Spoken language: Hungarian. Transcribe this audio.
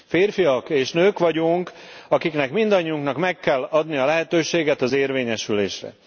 Férfiak és nők vagyunk, akiknek mindannyiunknak meg kell adni a lehetőséget az érvényesülésre.